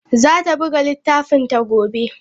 Zata buga littafinta gobe.